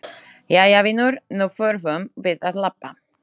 Jæja vinur, nú þurfum við að labba.